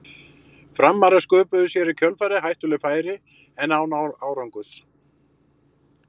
Framarar sköpuðu sér í kjölfarið hættuleg færi en án árangurs.